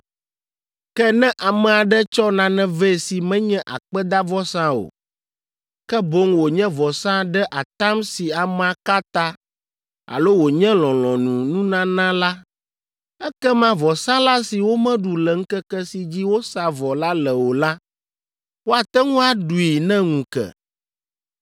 “Ke ne ame aɖe tsɔ nane vɛ si menye akpedavɔsa o, ke boŋ wònye vɔsa ɖe atam si amea ka ta alo wònye lɔlɔ̃nununana la, ekema vɔsalã si womeɖu le ŋkeke si dzi wosa vɔ la le o la, woate ŋu aɖui ne ŋu ke.